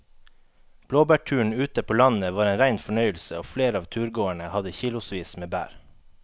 Blåbærturen ute på landet var en rein fornøyelse og flere av turgåerene hadde kilosvis med bær.